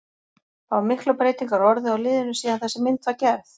Hafa miklar breytingar orðið á liðinu síðan þessi mynd var gerð?